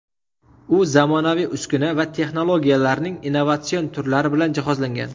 U zamonaviy uskuna va texnologiyalarning innovatsion turlari bilan jihozlangan.